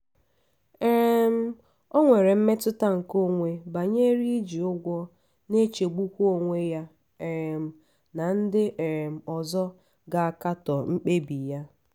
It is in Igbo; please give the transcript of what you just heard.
um o nwere mmetụta nke onwe banyere iji ụgwọ na-echegbukwa onwe ya um na ndị um ọzọ ga-akatọ mkpebi ya.